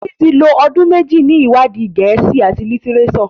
Titi tí lọ ọdún méjì ní iwadi Gèésì at litireso.